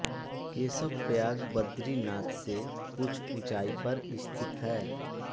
केशवप्रयाग बद्रीनाथ से कुछ ऊँचाई पर स्थित है